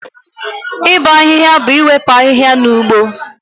Ịbọ ahịhịa bụ iwepụ ahịhịa na ugbo